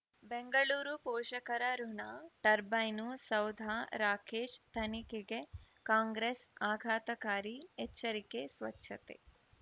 ಬೆಂಗಳೂರು ಪೋಷಕರಋಣ ಟರ್ಬೈನು ಸೌಧ ರಾಕೇಶ್ ತನಿಖೆಗೆ ಕಾಂಗ್ರೆಸ್ ಆಘಾತಕಾರಿ ಎಚ್ಚರಿಕೆ ಸ್ವಚ್ಛತೆ